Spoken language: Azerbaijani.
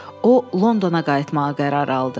O, Londona qayıtmağa qərar aldı.